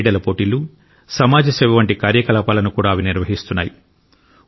క్రీడా పోటీలు సమాజ సేవ వంటి కార్యకలాపాలను కూడా అవి నిర్వహిస్తున్నాయి